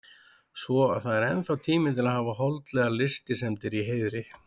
Svo að það er ennþá tími til að hafa holdlegar lystisemdir í heiðri.